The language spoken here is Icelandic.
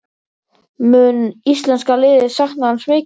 Mun íslenska liðið sakna hans mikið?